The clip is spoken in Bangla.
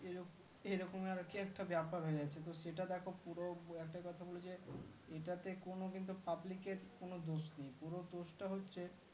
এরকম আরকি একটা বেপার হয়ে গেছে তো সেটা দেখো পুরো একটা কথা বলে যাই এটাতে কোনো কিন্তু public এর কোনো দোষ নেই পুরো দোষটা হচ্ছে